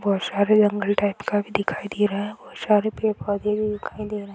बहुत सारे जंगल टाइप का भी दिखाई दे रहा है बहुत सारे पेड पौधे भी दिखाई दे रहे हैं ।